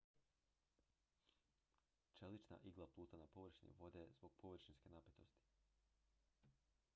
čelična igla pluta na površini vode zbog površinske napetosti